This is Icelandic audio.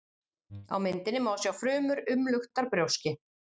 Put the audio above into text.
á myndinni má sjá frumur umluktar brjóski